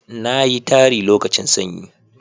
na yi tari lokacin sanyi